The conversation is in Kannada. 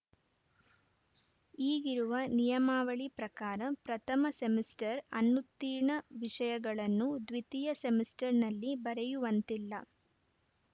ಈಗಿರುವ ನಿಯಮಾವಳಿ ಪ್ರಕಾರ ಪ್ರಥಮ ಸೆಮಿಸ್ಟರ್‌ ಅನುತ್ತೀರ್ಣ ವಿಷಯಗಳನ್ನು ದ್ವಿತೀಯ ಸೆಮಿಸ್ಟರ್‌ನಲ್ಲಿ ಬರೆಯುವಂತಿಲ್ಲ